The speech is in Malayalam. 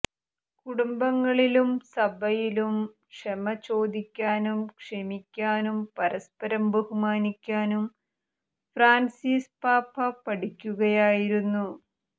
കുടുംബങ്ങളിലും സഭയിലും ക്ഷമ ചോദിക്കാനും ക്ഷമിക്കാനും പരസ്പരം ബഹുമാനിക്കാനും ഫ്രാന്സിസ് പാപ്പ പഠിപ്പിക്കുകയായിരുന്നു